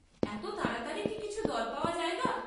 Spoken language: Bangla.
এত তাড়াতাড়ি কি কিছু দর পাওয়া যায় গা।